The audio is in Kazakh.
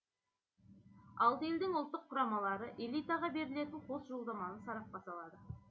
алты елдің ұлттық құрамалары элитаға берілетін қос жолдаманы сарапқа салады